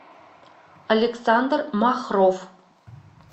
александр махров